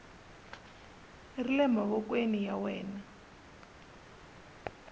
ri le mavokweni ya wena